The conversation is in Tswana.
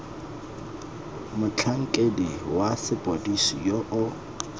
motlhankedi wa sepodisi yo o